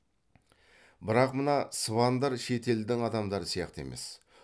бірақ мына сыбандар шет елдің адамдары сияқты емес